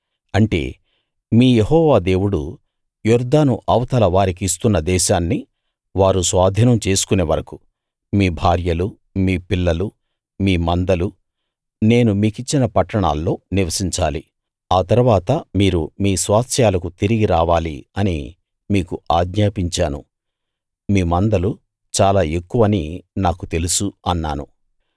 అంటే మీ యెహోవా దేవుడు యొర్దాను అవతల వారికి ఇస్తున్న దేశాన్ని వారు స్వాధీనం చేసుకునే వరకూ మీ భార్యలు మీ పిల్లలు మీ మందలు నేను మీకిచ్చిన పట్టణాల్లో నివసించాలి ఆ తరువాత మీరు మీ స్వాస్థ్యాలకు తిరిగి రావాలి అని మీకు ఆజ్ఞాపించాను మీ మందలు చాలా ఎక్కువని నాకు తెలుసు అన్నాను